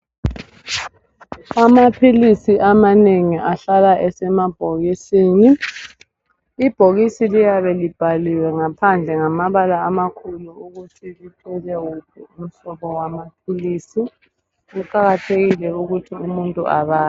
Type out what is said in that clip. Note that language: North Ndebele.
Amaphilisi amanengi ahlala esemabhokisini. Ibhokisi liyabe libhaliwe ngaphandle ngamabala amakhulu ukuthi lithwele wuphi umhlobo wamaphilisi. Kuqakathekile ukuthi umuntu abale.